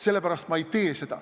Sellepärast ma seda ei tee.